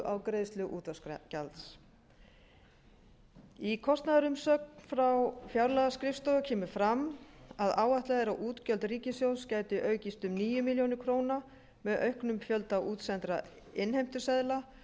á greiðslu útvarpsgjaldsins í kostnaðarumsögn frá fjárlagaskrifstofu kemur fram að áætlað er að útgjöld ríkissjóðs gætu aukist um níu milljónir króna með auknum fjölda útsendra innheimtuseðla og